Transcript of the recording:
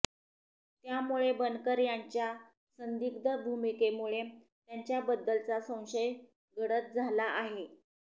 त्यामुळे बनकर यांच्या संदिग्ध भूमिकेमुळे त्यांच्याबद्दलचा संशय गडद झाला आहे